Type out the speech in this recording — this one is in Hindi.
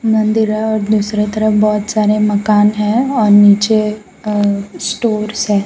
मंदिर है और दूसरे तरफ बहोत सारे मकान हैं और नीचे अ स्टोर्स है।